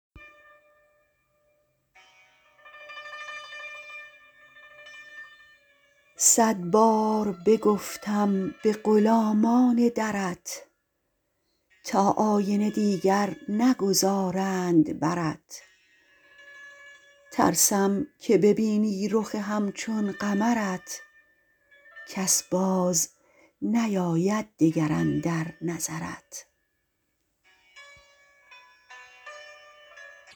صد بار بگفتم به غلامان درت تا آینه دیگر نگذارند برت ترسم که ببینی رخ همچون قمرت کس باز نیاید دگر اندر نظرت